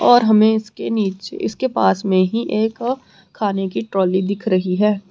और हमें इसके नीचे इसके पास में ही एक खाने की ट्रॉली दिख रही है।